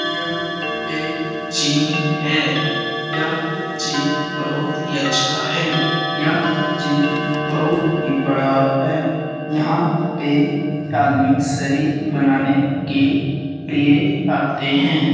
यह एक जिम है। यह जिम बहुत ही अच्छा है। यह जिम बहुत ही बड़ा है। यहाँ पे एक आदमी शरीर मनाने के लिए आते है।